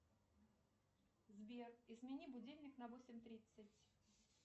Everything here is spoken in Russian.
сбер измени будильник на восемь тридцать